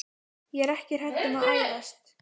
Ég er ekki hrædd um að ærast.